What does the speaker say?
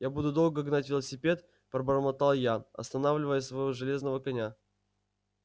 я буду долго гнать велосипед пробормотал я останавливая своего железного коня